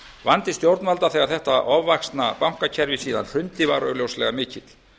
vandi stjórnvalda þegar þetta ofvaxna bankakerfi síðan hrundi var augljóslega mikill